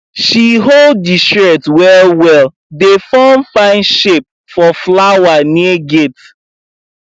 she hold di shears wellwell dey form fine shape for flower near gate